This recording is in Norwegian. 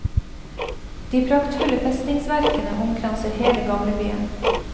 De praktfulle festningsverkene omkranser hele gamlebyen.